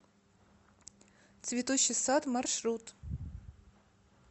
цветущий сад маршрут